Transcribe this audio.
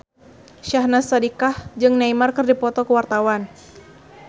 Syahnaz Sadiqah jeung Neymar keur dipoto ku wartawan